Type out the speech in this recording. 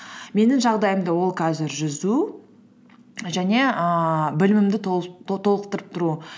менің жағдайымда ол қазір жүзу және ііі білімімді толықтырып тұру